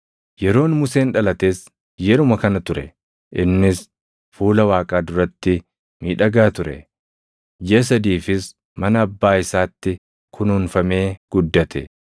“Yeroon Museen dhalates yeruma kana ture; innis fuula Waaqaa duratti miidhagaa ture; jiʼa sadiifis mana abbaa isaatti kunuunfamee guddate.